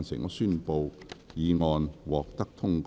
我宣布議案獲得通過。